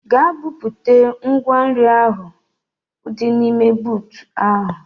Gaa bupụta ngwa nri ndị ahụ dị n'ime buutu ahụ!